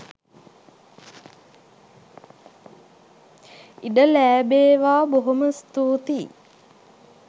ඉඩ ලෑබේවා බොහොම ස්තුතියි.